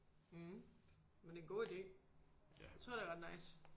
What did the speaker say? Mh men det er en god ide jeg tror det er ret nice